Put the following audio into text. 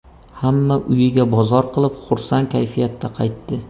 Hamma uyiga bozor qilib, xursand kayfiyatda qaytdi.